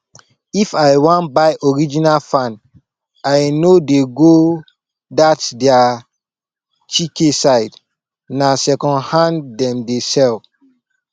if i wan buy original fan i no dey go that their chike side na secondhand dem dey sell